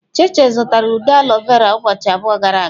Cheche zụtara ude aloe vera ụbọchị abụọ gara aga.